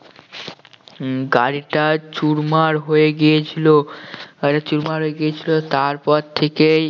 উম গাড়িটা চুরমার হয়ে গিয়েছিল গাড়িটা চুরমার হয়ে গিয়েছিল তার পর থেকেই